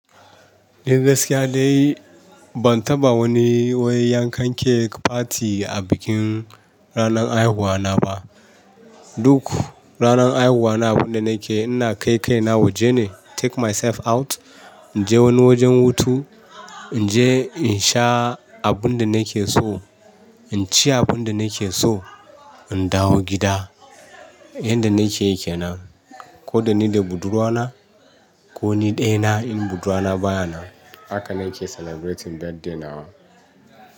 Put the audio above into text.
Eh gaskiya dai bantaɓa wani wai yankan kek pati a bikin ranar haihuwa naba. Duk ranar haihuwana abinda nake ina kai kaina waje ne. Take myself out. In je wani wajen hutu, in je in sha abun da na ke so, in ci abun da na ke so, in dawo gida. Inda nakeyi kenan, ko dani da budurwa na koni ɗaya na in budurwana bayanan. Haka na ke celebrating birthday na.